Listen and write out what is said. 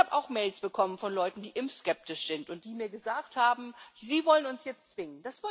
Ich habe auch Mails bekommen von Leuten, die impfskeptisch sind und die mir gesagt haben Sie wollen uns jetzt zwingen.